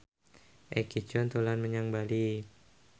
Egi John dolan menyang Bali